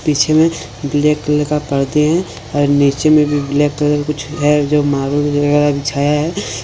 पीछे में black colour का पर्दे हैं और नीचे में भी ब्लैक कलर कुछ है जो बिछाया है।